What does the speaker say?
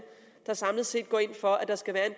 der samlet set går ind for at der skal være